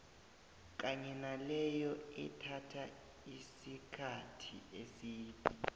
kanye naleyo ethatha isikkathi eside